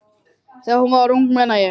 Þegar hún var ung, meina ég.